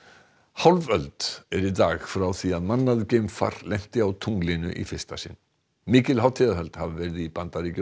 hálf öld er í dag frá því að mannað geimfar lenti á tunglinu í fyrsta sinn mikil hátíðahöld hafa verið í Bandaríkjunum